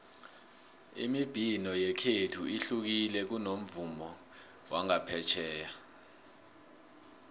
imibhino yekhethu ihlukile kunomvumo wangaphetjheya